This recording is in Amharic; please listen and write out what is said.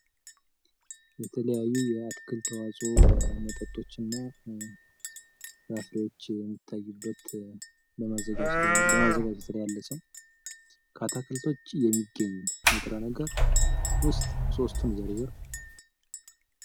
የተለያዩ የአትክልት ተዋጾ መጠጦች እና ፍራፍሬዎች የሚታዩበት በማዘጋጀት ላይ ያለ ሰው ውስጥ የሚገኝ ንጥረ ነገር ሶስቱን ዝርዝር?